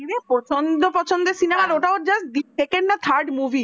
highway প্রচন্ড পছন্দ cinema ওর য়ে second movie